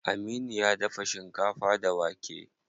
Aminu ya dafa shinkafa da wake.